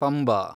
Panba